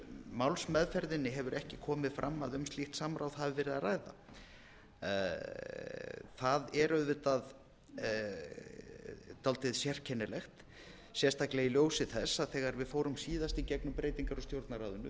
málsmeðferðinni hefur ekki komið fram að um slíkt samráð hafi verið að ræða það er auðvitað dálítið sérkennilegt sérstaklega í ljósi þess að þegar við fórum síðast í gegnum breytingar á stjórnarráðinu